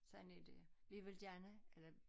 Sådan er det vi vil gerne eller